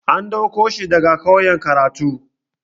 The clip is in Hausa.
An ɗauko shi daga ƙauye karatu.